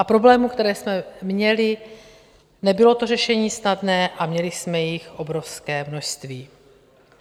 A problémů, které jsme měli - nebylo to řešení snadné a měli jsme jich obrovské množství.